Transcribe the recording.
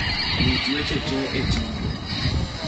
ruch weche tee e chenro